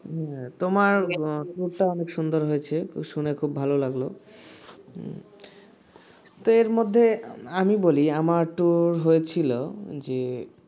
তোমার tour টা অনেক সুন্দর হয়েছে শুনে খুব ভালো লাগলো তো এর মধ্যে আমি বলি আমার ট্যুর হয়েছিল যে